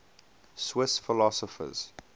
swiss philosophers